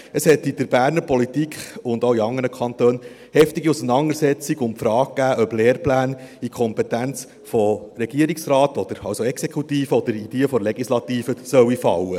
Es hat in der Berner Politik, und auch in anderen Kantonen, heftige Auseinandersetzungen um die Frage gegeben, ob Lehrpläne in die Kompetenz des Regierungsrates, also der Exekutive, oder in die der Legislative fallen sollen.